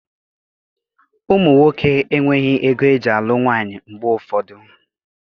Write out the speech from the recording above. Ụmụ nwoke enweghị ego eji alụ nwaanyị mgbe ụfọdụ